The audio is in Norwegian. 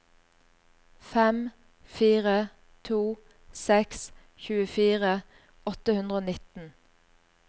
fem fire to seks tjuefire åtte hundre og nitten